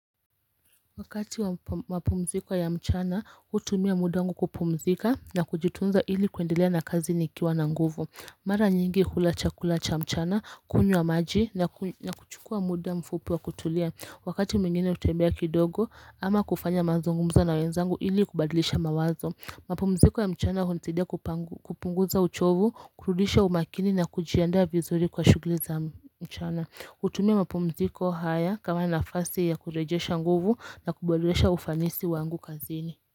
Wakati wa mapumziko ya mchana utumia muda wangu kupumzika na kujitunza ili kuendelea na kazi nikiwa na nguvu Mara nyingi hula chakula cha mchana, kunywa maji na kuchukua muda mfupu wa kutulia Wakati mingine kutembea kidogo ama kufanya mazungumza na wenzangu ili kubadlisha mawazo mapumziko ya mchana hunisaidia kupunguza uchovu, kurudisha umakini na kujianda vizuri kwa shuguli za mchana kutumia mapumziko haya kama nafasi ya kurejesha nguvu na kuboresha ufanisi wangu kazini.